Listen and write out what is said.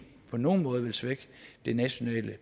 på nogen måde vil svække det nationale